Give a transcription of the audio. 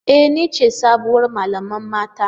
E! Ni ce sabuwar malamar mata.